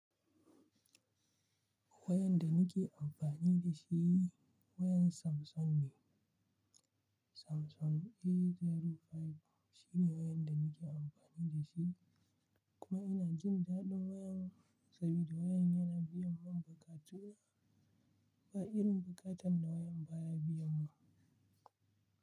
Wayan da nike amfani da shi wayan Samsung ne. Samsung A05 shine wayan da nike amfani da shi, kuma ina jin daɗin wayan saboda wayan yana biyan mun buƙatu. Ba irin buƙatan da wayan baya biyan mu.